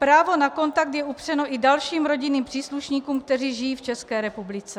Právo na kontakt je upřeno i dalším rodinným příslušníkům, kteří žijí v České republice.